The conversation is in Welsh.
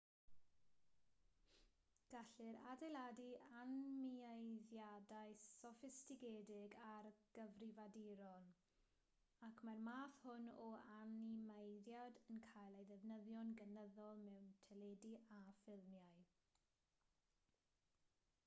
gellir adeiladu animeiddiadau soffistigedig ar gyfrifiaduron ac mae'r math hwn o animeiddiad yn cael ei ddefnyddio'n gynyddol mewn teledu a ffilmiau